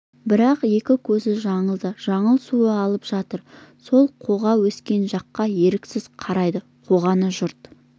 бірақ екі көзі жаңылда жаңыл су алып жатып сол қоға өскен жаққа еріксіз қарайды қоғаны жұрт